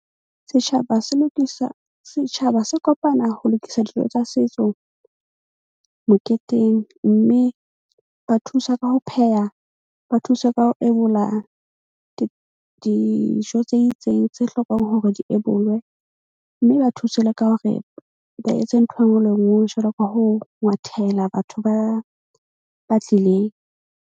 Setjhaba se lokisa, setjhaba se kopana ho lokisa dijo tsa setso moketeng. Mme ba thusa ka ho pheha, ba thuswe ka ho ebola dijo tse itseng tse hlokang hore di ebolwe, mme ba thuse le ka hore ba etse ntho e nngwe le e nngwe jwalo ka ho ngwathela batho ba, ba tlileng.